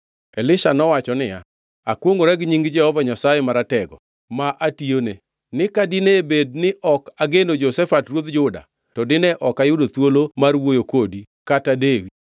Elisha nowacho niya, “Akwongʼora gi nying Jehova Nyasaye Maratego ma atiyone, ni ka dine bed ni ok ageno Jehoshafat ruodh Juda, to dine ok ayudo thuolo mar wuoyo kodi kata dewi